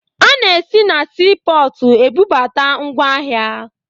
A na-esi na siipọọtụ ebubata ngwaahịa